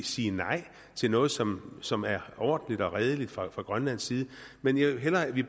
sige nej til noget som som er ordentligt og redeligt fra grønlands side men jeg ville hellere at vi